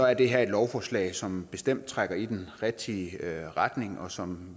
er det her et lovforslag som bestemt trækker i den rigtige retning og som